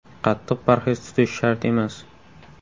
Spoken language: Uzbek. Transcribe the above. Qattiq parhez tutish shart emas.